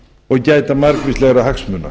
og gæta margvíslegra hagsmuna